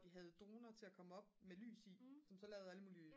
de havde droner til at komme op med lys i som så lavede alle mulige